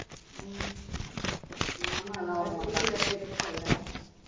உம் ஆமா இந்த மாசம் leave வேற எடுத்துட்டேல்ல